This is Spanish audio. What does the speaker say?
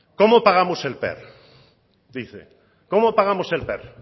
cómo pagamos el per dice cómo pagamos el per